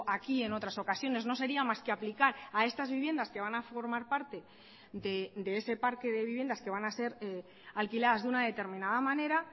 aquí en otras ocasiones no sería más que aplicar a estas viviendas que van a formar parte de ese parque de viviendas que van a ser alquiladas de una determinada manera